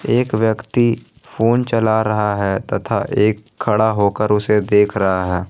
एक व्यक्ति फोन चला रहा है तथा एक खड़ा होकर उसे देख रहा है।